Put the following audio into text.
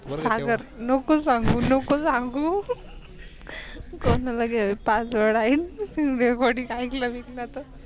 सागर नको सांगू नको सांगू कोणी आलत Password आईन Recording आईक विकलत.